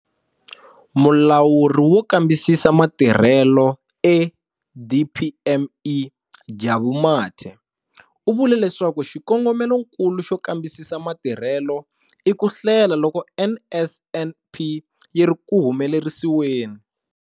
Mulawuri wo Kambisisa Matirhelo eDPME, Jabu Mathe, u vule leswaku xikongomelonkulu xo kambisisa matirhelo i ku hlela loko NSNP yi ri ku humelerisiweni.